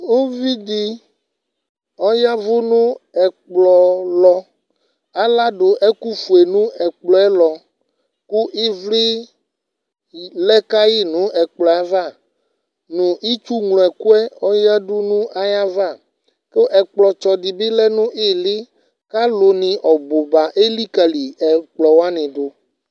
uvi di ɔya vu no ɛkplɔ lɔ aladu ɛkò fue no ɛkplɔ yɛ lɔ kò ivli lɛ ka yi n'ɛkplɔ yɛ ava no itsu ŋlo ɛkò yɛ oya du n'ayi ava kò ɛkplɔ tsɔ di bi lɛ no ili k'alo ni ɔbu ba elikali ɛkplɔ wani du